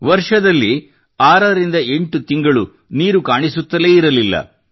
ವರ್ಷದಲ್ಲಿ ಆರರಿಂದ ಎಂಟು ತಿಂಗಳು ನೀರು ಕಾಣಿಸುತ್ತಲೇ ಇರಲಿಲ್ಲ